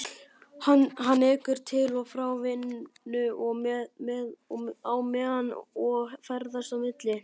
Hann ekur til og frá vinnu á meðan ég ferðast á milli